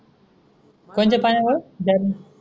कोणच्या पानी मूळ जाली